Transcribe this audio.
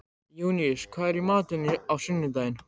Júníus, hvað er í matinn á sunnudaginn?